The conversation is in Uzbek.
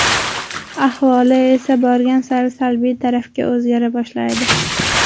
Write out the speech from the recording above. Ahvoli esa borgan sari salbiy tarafga o‘zgara boshlaydi.